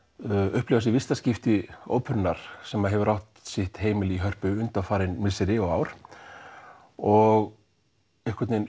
upplifa sig í fyrsta skipti óperunnar sem hefur átt sitt heimili í Hörpunni undanfarin misseri og ár og einhvern veginn